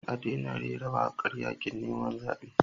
A daina rera wakar yakin neman zabe.